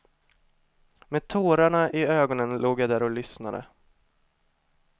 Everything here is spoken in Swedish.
Med tårarna i ögonen låg jag där och lyssnade.